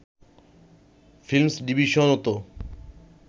films ডিভিশনও তো